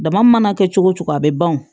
Dama mana kɛ cogo cogo a bɛ ban o